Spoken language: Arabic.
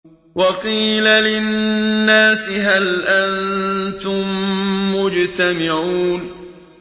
وَقِيلَ لِلنَّاسِ هَلْ أَنتُم مُّجْتَمِعُونَ